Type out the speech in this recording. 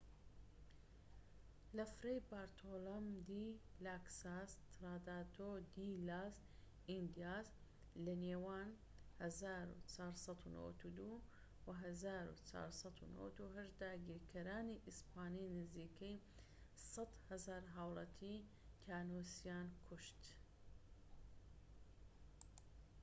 لە فرەی بارتۆلۆم دی لا کاساس تراداتۆ دی لاس ئیندیاس لەنێوان ١٤٩٢ و ١٤٩٨ داگیرکەرانی ئیسپانی نزیکەی ١٠٠،٠٠٠ هاولاتی تیانۆسیان کوشت